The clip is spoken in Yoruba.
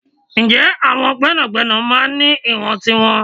Ǹjẹ́ àwọn gbẹ́nàgbẹ́nà máa ń ní ìwọ̀n tiwọn?